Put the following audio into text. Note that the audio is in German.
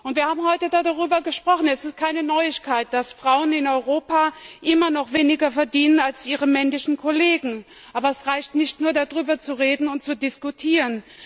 Wir haben heute darüber gesprochen, und es ist keine Neuigkeit, dass Frauen in Europa immer noch weniger verdienen als ihre männlichen Kollegen, aber es reicht nicht, nur darüber zu reden und zu diskutieren.